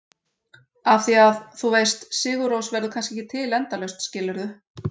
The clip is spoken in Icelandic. Af því að, þú veist, Sigur Rós verður kannski ekki til endalaust, skilurðu?